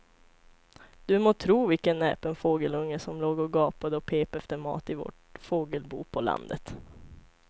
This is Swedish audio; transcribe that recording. Du må tro vilken näpen fågelunge som låg och gapade och pep efter mat i vårt fågelbo på landet.